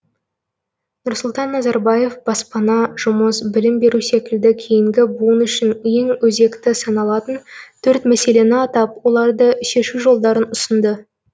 нұрсұлтан назарбаев баспана жұмыс білім беру секілді кейінгі буын үшін ең өзекті саналатын төрт мәселені атап оларды шешу жолдарын ұсынды